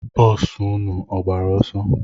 Boosu nnu ọ gbara ọsọ?